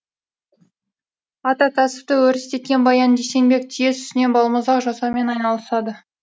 ата кәсіпті өрістеткен баян дүйсенбек түйе сүтінен балмұздақ жасаумен айналысады